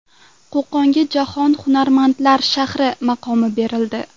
Qo‘qonga jahon hunarmandlar shahri maqomi berildi.